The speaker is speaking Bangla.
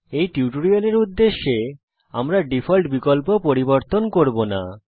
এই টিউটোরিয়ালের উদ্দেশ্যে আমরা ডিফল্ট বিকল্প পরিবর্তন করব না